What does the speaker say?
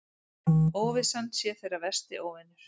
Óvissan sé þeirra versti óvinur.